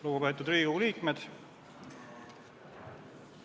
Lugupeetud Riigikogu liikmed!